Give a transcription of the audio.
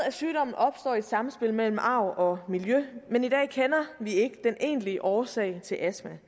at sygdommen opstår i samspil mellem arv og miljø men i dag kender vi ikke den egentlige årsag til astma